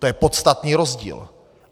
To je podstatný rozdíl.